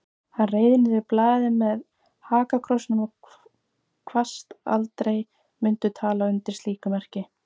Hann reif niður blaðið með hakakrossinum og kvaðst aldrei mundu tala undir slíku merki.